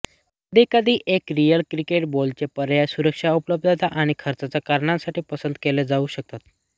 कधीकधी एक real cricket बॉलचे पर्याय सुरक्षा उपलब्धता आणि खर्चाच्या कारणांसाठी पसंत केले जाऊ शकतात